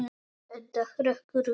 Edda hrekkur við.